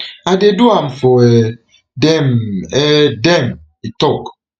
i dey do am for um dem um dem e tok